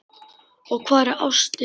Og hvar er ástin?